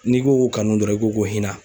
N'i ko k'o kanu dɔrɔn, i ko ko hinɛ.